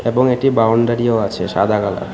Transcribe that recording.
এবং একটি বাউন্ডারিও আছে সাদা কালার ।